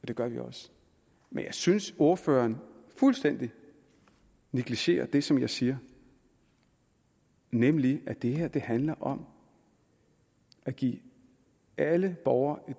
det gør vi også men jeg synes ordføreren fuldstændig negligerer det som jeg siger nemlig at det her handler om at give alle borgere